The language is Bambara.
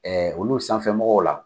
Ɛɛ olu sanfɛ mɔgɔw la